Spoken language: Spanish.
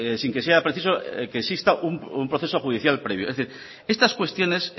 sin que sea preciso que exista un proceso judicial previo es decir estas cuestiones